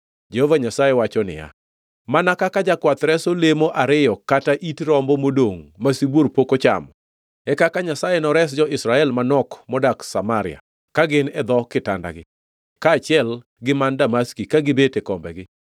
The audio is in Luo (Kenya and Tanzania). Jehova Nyasaye wacho niya, “Mana kaka jakwath reso lemo ariyo kata it rombo modongʼ ma sibuor pok ochamo, e kaka Nyasaye nores, jo-Israel manok modak Samaria ka gin e dho kitandagi, kaachiel gi man Damaski ka gibet e kombegi.”